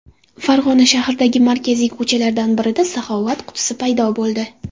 Farg‘ona shahridagi markaziy ko‘chalardan birida saxovat qutisi paydo bo‘ldi.